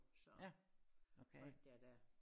Så holdt jeg dér